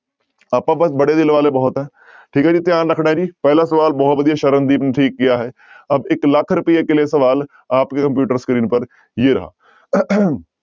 ਆਪਾਂ ਬਸ ਬੜੇ ਦਿਲ ਵਾਲੇ ਬਹੁਤ ਹੈ ਠੀਕ ਹੈ ਜੀ ਧਿਆਨ ਰੱਖਣਾ ਹੈ ਜੀ ਪਹਿਲਾ ਸਵਾਲ ਬਹੁਤ ਵਧੀਆ ਸਰਨਦੀਪ ਨੇ ਠੀਕ ਕੀਆ ਹੈ ਅਬ ਇੱਕ ਲੱਖ ਰੁਪਈਏ ਕੇ ਲਈਏ ਸਵਾਲ ਆਪ ਕੀ computer screen ਪਰ ਜੇ ਰਹਾ